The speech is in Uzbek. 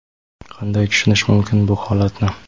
Qanday tushunish mumkin bu holatni.